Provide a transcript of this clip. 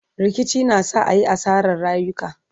rikici na sa ayi asarar rayuka